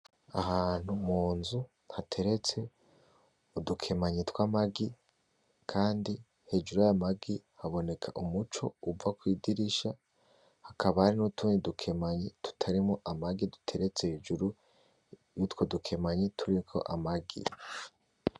Ahantu munzu hateretse udukemanyi tw'amagi kandi hejuru yayo magi haboneka umuco uva kwidirisha, hakaba harutundi dukemanyi tutarimwo amagi duteretse hejuru yutwo dukemanyi turiko amagi.